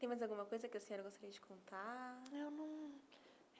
Tem mais alguma coisa que a senhora gostaria de contar? eu não